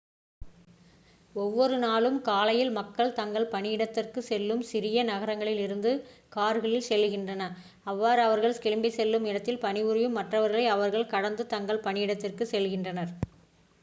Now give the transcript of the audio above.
ஒவ்வொரு நாளும் காலையில் மக்கள் தங்கள் பணியிடத்திற்கு செல்ல சிறிய நகரங்களில் இருந்து கார்களில் செல்கின்றனர் அவ்வாறு அவர்கள் கிளம்பிச் செல்லும் இடத்தில் பணிபுரியும் மற்றவர்களை அவர்கள் கடந்து தங்கள் பணியிடத்திற்குச் செல்கின்றனர்